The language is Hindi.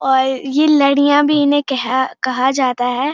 और ये लड़ियां भी इने कह कहा जाता है।